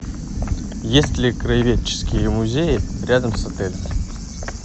есть ли краеведческие музеи рядом с отелем